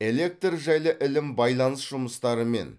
электр жайлы ілім байланыс жұмыстарымен